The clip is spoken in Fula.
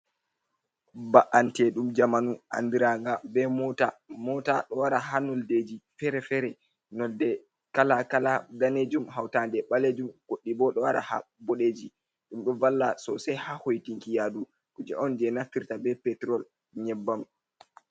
Ba’ante ɗum jamanu anɗiraga be mota. Mota ɗo wara ha noldeji fere-fere. Nolde kala-kala ɗanejum hautanɗe balejum guɗɗi bo ɗo wala ha boɗeji. Ɗumde valla sosai ha hoitinki yaɗu kuje on je naftirta be petrol nyebbam.